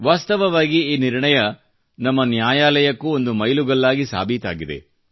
ವಾಸ್ತವವಾಗಿ ಈ ನಿರ್ಣಯ ನಮ್ಮ ನ್ಯಾಯಾಲಯಕ್ಕೂ ಒಂದು ಮೈಲುಗಲ್ಲಾಗಿ ಸಾಬೀತಾಗಿದೆ